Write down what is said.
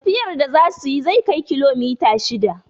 Tafiyar da za suyi zai kai kilomita shida